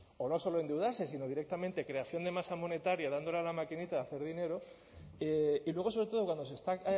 o no solo endeudarse sino directamente creación de masa monetaria dándole a la maquinita de hacer dinero y luego sobre todo cuando se está